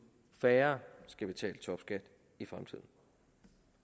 færre skal betale topskat i fremtiden